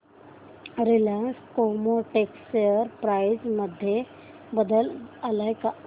Reliance Chemotex share price मध्ये बदल आलाय का